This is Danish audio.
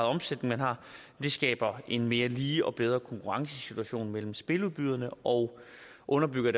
omsætning man har skaber en mere lige og bedre konkurrencesituation mellem spiludbyderne og underbygger i